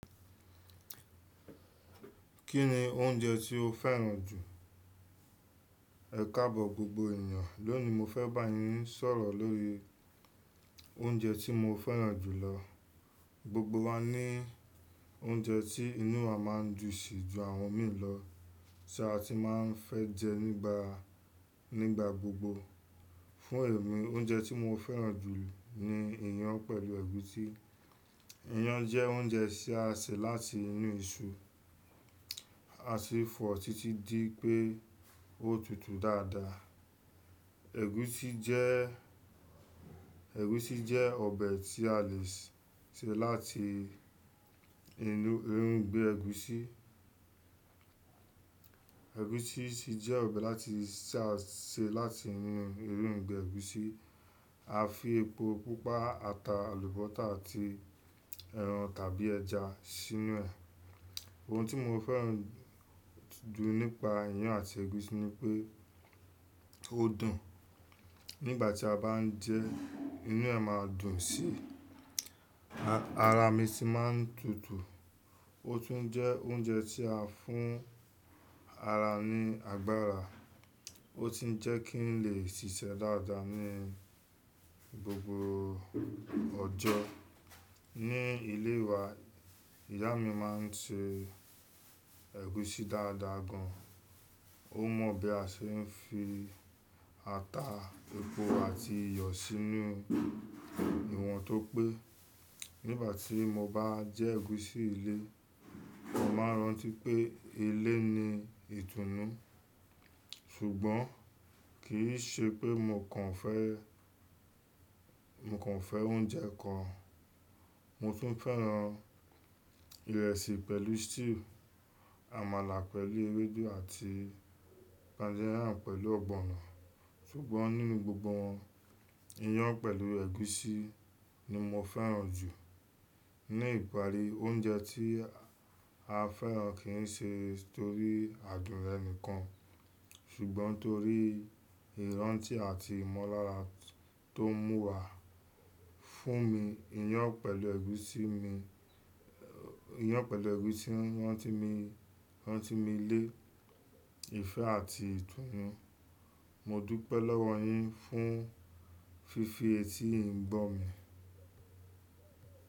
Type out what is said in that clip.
Kí ni oúnjẹ tí ó fẹ́ràn jù? Ẹ̀káàbò gbogbo èèyàn, lónìí mo fẹ́ bá yín sọ̀rọ̀ lórí oúnjẹ tí mo fẹ́ràn jù lọ. Gbogbo wa ní oúnjẹ tí inú wa máa n dùn si ju àwọn mìín lọ tí a ti máa n fẹ jẹ nígbà, nígbà gbogbo. Fún èmi, oúnjẹ tí mo fẹ́ràn jù ni iyán pẹ̀lú ẹ̀gúsi. Iyán jẹ́ oúnjẹ tí a ṣe láti inú isu, a sì fọ̀ títí dí pé o tutù dáadáa. Ẹ̀gúsi jẹ́, ẹ̀gúsi jẹ́ ọbẹ̀ tí a lè ṣe láti inú irúgbìn ẹ̀gúsí. Ẹ̀gúsi sì jẹ́ ọbẹ láti ṣà ṣe láti inú irúgbìn ẹ̀gúsí. A fi epo pupa, ata, àlùbọ́tà àti ẹran tàbí ẹja sínú ẹ̀. Ohun tí mo fẹ́ràn jù nípa iyán àti ẹ̀gúsí ni pé ó dùn. Nígbà tí a bá n jẹ, inú ẹ̀ máa dùn sí, ara mi sì máa n tutù. Ó tún jẹ́ oúnjẹ tí á fún ara ní agbára. Ó sì n jẹ́ kí n lè ṣíṣe dáadáa ní gbogbo ọjọ́. Ní ilé wa, ìyá mi máa n se ẹ̀gúsí dáadáa gan. Ó mọ̀ bí a se n fi ata, epo àti iyọ̀ sínú ìwọ̀n tó pé. Nígbà tí mo bá jẹ ẹ̀gúsí ilé, mo máa rántí pé ilé ni ìtùnú. Ṣùgbọ́n kì í ṣe pé mo kàn fẹ́, mo kàn fẹ́ oúnjẹ kan. Mo tún fẹ́ràn ìrẹsì pẹ̀lú stew, àmàlà pẹ̀lú ewédú àti poundo yam pẹ̀lú ọ̀gbọ̀nọ̀. Ṣùgbọ́n nínú gbogbo wọn, iyán pẹ̀lú ẹ̀gúsí ni mo fẹ́ràn jù. Ní ìparí, oúnjẹ tí a fẹ́ràn kì n ṣe torí adùn ẹni kan. Ṣùgbọ́n torí ìrántí àti ìmọ́lára tó mú wa. Fún mi, iyán pẹ̀lú ẹ̀gúsí mi, iyán pẹ̀lú ẹ̀gúsí rán ti mi, rán ti mi lé ìfẹ́ àti ìtùnú. Mo dúpẹ́ lọ́wọ́ yín fún fífi etí ì gbọ mi.